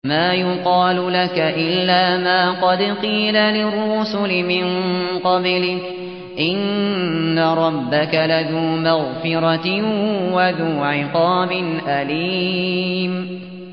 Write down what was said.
مَّا يُقَالُ لَكَ إِلَّا مَا قَدْ قِيلَ لِلرُّسُلِ مِن قَبْلِكَ ۚ إِنَّ رَبَّكَ لَذُو مَغْفِرَةٍ وَذُو عِقَابٍ أَلِيمٍ